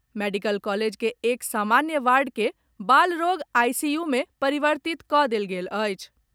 Medical college के एक सामान्य वार्ड के बाल रोग आईसीयू में परिवर्तित कऽ देल गेल अछि।